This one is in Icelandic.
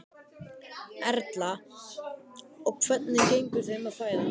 Erla: Og hvernig gengur þeim að fæða?